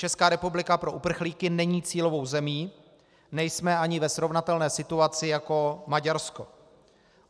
Česká republika pro uprchlíky není cílovou zemí, nejsme ani ve srovnatelné situaci jako Maďarsko.